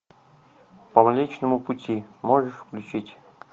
по млечному пути можешь включить